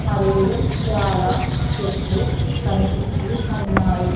మరియు చాలా చెట్లు కనిపిస్తూ ఉన్నాయి.